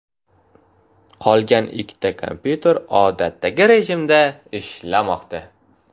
Qolgan ikkita kompyuter odatdagi rejimda ishlamoqda.